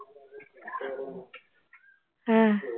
ਆਹ